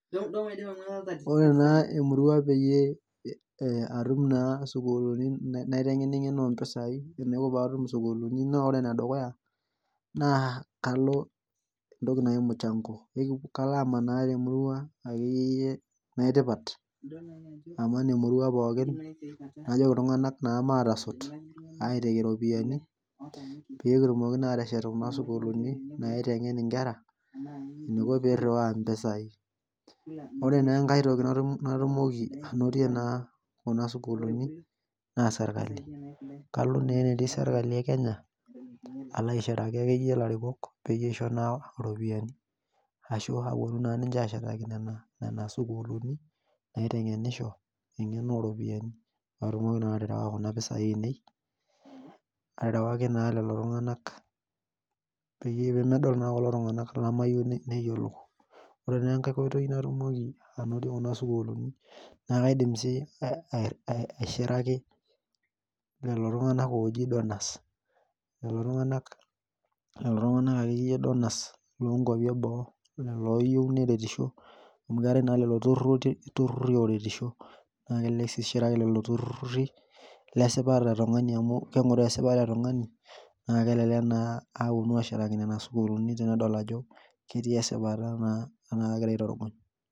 Ore naa emurua peyie eya atum naa isukuluni naiteng'ening'ena ompisai ore enaiko paatum isukuluni naa ore enedukuya naa kalo entoki naji mchango kalo amanaa temurua akeyie yie naitipat aman emurua pookin najoki iltung'anak naa maatasot aiteki iropiani pekitumoki naa ateshet kuna sukuluni naiteng'en inkera eniko pirriwaa impesai ore nenkae toki natum natumoki anotie naa kuna sukuluni naa serkali kalo naa enetii serkali e kenya alo aishiraki akeyie ilarikok peyie aisho naa iropiyiani ashua aponu naa ninche ashetaki nena, nena sukuluni naiteng'enisho eng'eno oropiani patumoki nanu aterewa kuna pisai ainei aterewaki naa lelo tung'anak peyie pemedol naa kulo tung'anak lamayieu ne neyiolou ore nenkae koitoi natumoki anotie kuna sukuluni naa kaidim sii ae aishiraki lolo tung'anak ooji donors lelo tung'anak akeyie donors lonkuapi eboo lelo oyieu neretisho amu keetae naa lelo turruti rurruri oretisho naa kelelek sii ishiraki lelo turruri lesipata etung'ani amu keng'oroo esipata etung'ani naa kelelek naa aponu ashetaki nena sukuluni tenedoil ajo ketii esipata naa tenaa kagirae aitorogony.